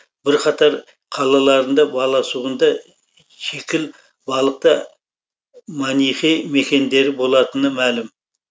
бірқатар қалаларында баласағүнды шікіл балықты манихей мекендері болатыны мәлім